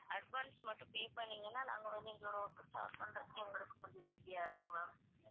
advance மட்டும் pay பண்ணீங்கன்னா நாங்க வந்து எங்களுடைய work அ start பண்றதுக்கு எங்களுக்கு கொஞ்சம் easy ஆ இருக்கும் ma'am